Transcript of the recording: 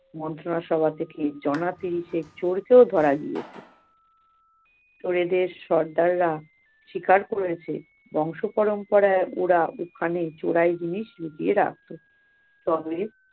মন্ত্রণা সভা থেকে চোরকে ধরা গিয়েছে। চোরেদের সর্দাররা স্বীকার করেছে বংশ পরম্পরায় ওরা ওখানে চোরাই জিনিস লুকিয়ে রাখত। তবে-